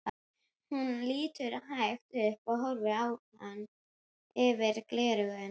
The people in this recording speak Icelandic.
Hún lítur hægt upp og horfir á hann yfir gleraugun.